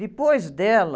Depois dela,